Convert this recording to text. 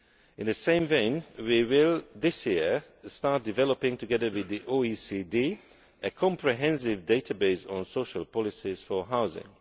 In the same vein, this year we will start developing, together with the OECD, a comprehensive database on social policies for housing.